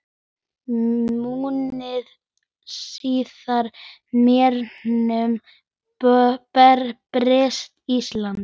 Mánuði síðar hernámu Bretar Ísland.